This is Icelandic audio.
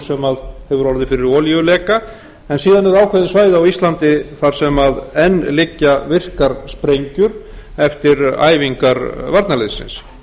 sem hefur orðið fyrir olíuleka en síðan eru ákveðin svæði á íslandi þar sem enn liggja virkar sprengjur eftir æfingar varnarliðsins